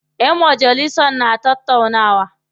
Ƴan majalisan na tattaunawa.